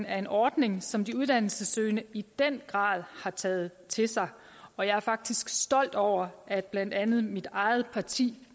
er en ordning som de uddannelsessøgende i den grad har taget til sig og jeg er faktisk stolt over at blandt andet mit eget parti